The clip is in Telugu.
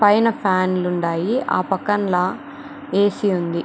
పైన ఫ్యాన్లు ఉండాయి. ఆ పక్కన ల ఎ. సి ఉంది.